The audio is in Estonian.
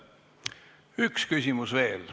Üks küsimus veel.